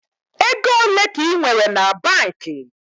Ego ole ka I nwere na banki?